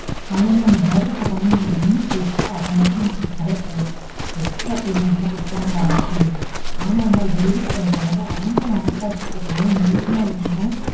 Online ல நம்ம order போட்றோம்னா அது என்ன price ஒ அத மட்டும் கொடுத்தாலேபோதும். Extra payment லாம் கொடுக்க வேண்டிய அவசியம் இல்ல. ஆனா என்ன delivery பண்றவங்க அவங்க மனசாட்சிக்கு ஏத்தமாறி நேர்மையா இருந்தா.